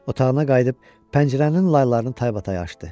Otağına qayıdıb pəncərənin laylarını taybatay açdı.